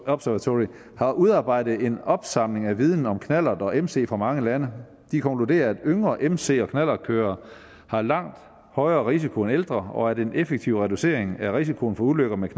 observatory har udarbejdet en opsamling af viden om knallert og mc fra mange lande de konkluderer at yngre mc og knallertkørere har langt højere risiko end ældre og at en effektiv reducering af risikoen for ulykker med